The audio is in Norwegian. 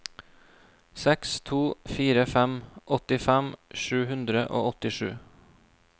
seks to fire fem åttifem sju hundre og åttisju